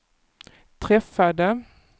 träffade